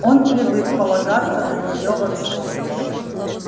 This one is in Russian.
он привык полагаться на неё во всём